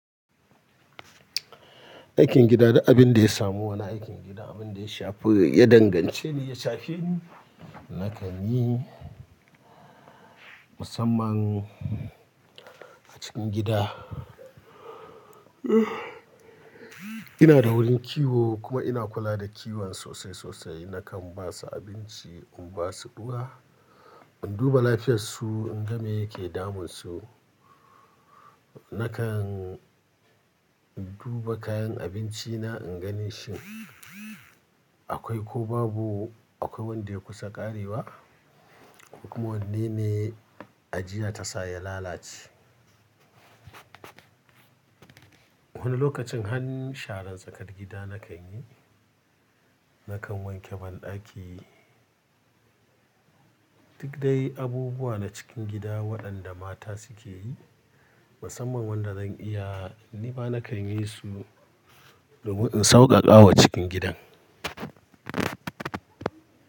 Aikin gida da abin da ya samu, wani aikin gida abin da ya shafi ya dangance ni ya shafi ni nakan yi. Musamman a cikin gida ina da wurin kiwo kuma ina kula da kiwon sosai sosai. Nakan ba su abinci, in ba su ruwa, in duba lafiyarsu, in ga me yake damunsu. Nakan duba kayan abinci na in gani shin akwai ko babu, akwai wanda ya kusa ƙarewa kuma wanne ne ajiya ta sa ya lalace. Wani lokacin har sharan tsakar gida nakan yi. Nakan wanke banɗaki. Duk dai abubuwa na cikin gida waɗanda mata suke yi musamman wanda zan iya ni ma nakan yi su domin in sauƙaƙawa cikin gidan.